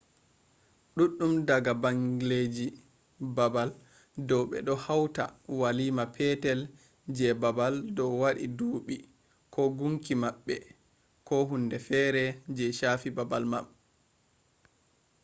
duddum daga bangleji babal dua bedo hauta walima petel je babal dua wadi dubi ko gunki mabbe ko hunde fere je shafi babal man